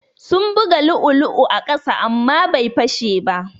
Sun buga lu'ulu'u a ƙasa amma bai fashe ba.